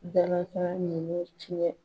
Dalakan nunnu tiɲɛ